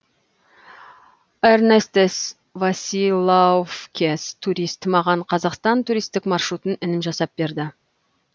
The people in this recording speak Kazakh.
эрнестес василаувкес турист маған қазақстан туристік маршрутын інім жасап берді